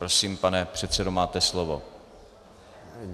Prosím, pane předsedo, máte slovo.